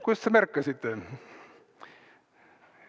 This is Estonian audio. Kuidas te märkasite?!